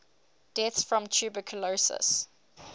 deaths from tuberculosis